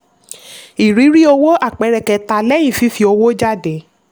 ìrírí owó àpẹẹrẹ kẹta lẹ́yìn fífi owó jáde.